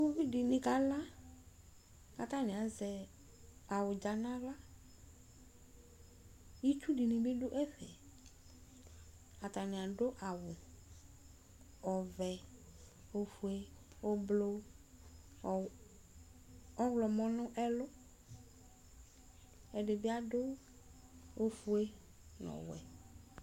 Uʋidɩnɩ ka la, k'atanɩ azɛ awʋdza n'aɣla Itsu dɩnɩ bɩ dʋ ɛfɛ, atanɩ adʋ awʋ ɔvɛ, ofue, ʋblʋ, ɔɣlɔmɔ nʋ ɛlʋ, ɛdɩ bɩ adʋ ofue nʋ ɔwɛ